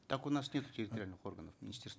так у нас нету территориальных органов министерства